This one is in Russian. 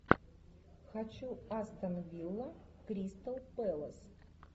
хочу астон вилла кристал пэлас